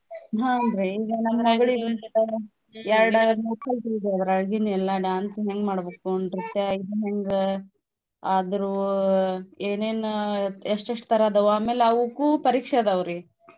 ಹ್ಮ್ ನ್ ರೀ ಎರಡ ಮೂರ ಕಲ್ತಿದ್ದೆ ಅದ್ರೋಳ್ಗಿನ್ವೆಲ್ಲಾ dance ಹೆಂಗ್ ಮಾಡ್ಬೇಕು ನೃತ್ಯಾ ಈದ್ನ್ ಹೆಂಗ? ಅದ್ರ್ವು ಏನೇನ ಎಷ್ಟೆಷ್ಟ್ ತರ ಅದಾವು ಆಮೇಲೆ ಅವುಕ್ಕೂ ಪರೀಕ್ಷೆ ಅದಾವ್ರೀ.